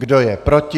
Kdo je proti?